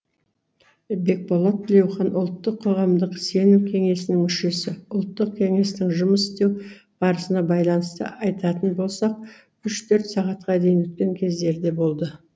бекболат тілеухан ұлттық қоғамдық сенім кеңесінің мүшесі ұлттық кеңестің жұмыс істеу барысына байланысты айтатын болсақ үш төрт сағатқа дейін өткен кездер де болды